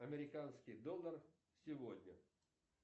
американский доллар сегодня